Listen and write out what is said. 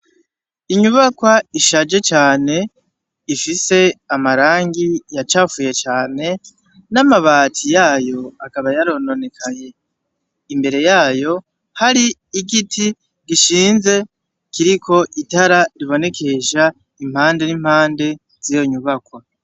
Inyubakwa ishaje cane ifise amarangi yacafuye cane ,n'amabati yayo akaba yarononekaye, imbere yayo har'igiti gishinze kiriko itara ribonekesha impande n'impande z'iyo nyubakwa.